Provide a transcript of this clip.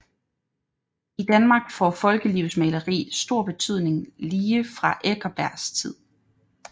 I Danmark får folkelivsmaleri stor betydning lige fra Eckersbergs tid